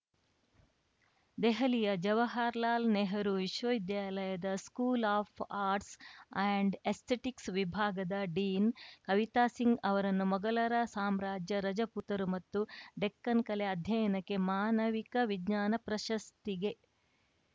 ದೆಹಲಿಯ ಜವಾಹರ್‌ಲಾಲ್‌ ನೆಹರೂ ವಿಶ್ವವಿದ್ಯಾಲಯದ school of arts and aesthetics ವಿಭಾಗದ ಡೀನ್‌ ಕವಿತಾ ಸಿಂಗ್‌ ಅವರನ್ನು ಮೊಗಲರ ಸಾಮ್ರಾಜ್ಯ ರಜಪೂತರು ಮತ್ತು ಡೆಕ್ಕನ್‌ ಕಲೆ ಅಧ್ಯಯನಕ್ಕೆ ಮಾನವಿಕ ವಿಜ್ಞಾನ ಪ್ರಶಸ್ತಿಗೆ